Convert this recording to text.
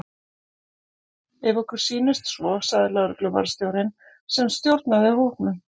Ef okkur sýnist svo sagði lögregluvarðstjórinn sem stjórnaði hópnum.